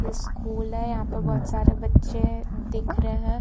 ये स्कूल है यहां पे बहोत सारे बच्चे दिख रहे हैं।